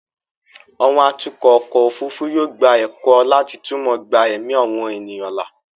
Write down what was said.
àwọn atukọ̀ ọkọ̀ òfurufú yóò gba ẹ̀kọ́ láti túmọ̀ gba ẹ̀mí àwọn ènìyàn là